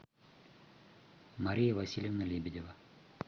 мария васильевна лебедева